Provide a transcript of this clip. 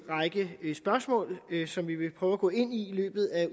række spørgsmål som vi vil prøve at gå ind i i løbet af